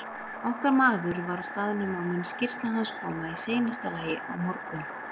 Okkar maður var á staðnum og mun skýrsla hans koma í seinasta lagi á morgun.